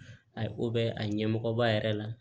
A ye ko bɛɛ a ɲɛmɔgɔba yɛrɛ la